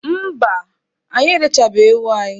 Mba, anyị erechabeghị ewu anyị.